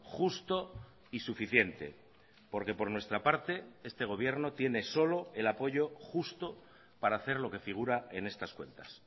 justo y suficiente porque por nuestra parte este gobierno tiene solo el apoyo justo para hacer lo que figura en estas cuentas